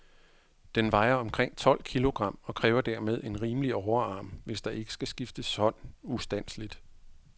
Den vejer omkring tolv kilogram, og kræver dermed en rimelig overarm, hvis der ikke skal skifte hånd ustandseligt.